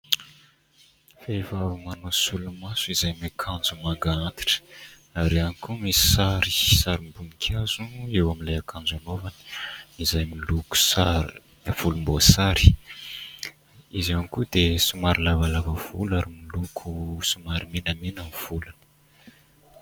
Vehivavy manao solomaso izay miakanjo manga antitra, ary ihany koa misy sary sarim-boninkazo eo amin'ilay akanjo anaovany, izay miloko sary, volomboasary. Izy ihany koa dia somary lavalava volo ary miloko somary menamena ny volony.